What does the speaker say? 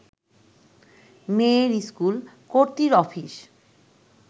মেয়ের স্কুল, কর্ত্রীর অফিস